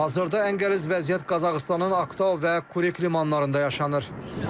Hazırda ən qəliz vəziyyət Qazaxıstanın Aktau və Kureyk limanlarında yaşanır.